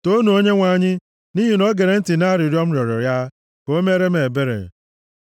Toonu Onyenwe anyị, nʼihi na o gere ntị nʼarịrịọ m rịọrọ ya ka o meere m ebere.